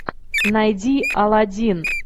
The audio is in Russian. найди алладин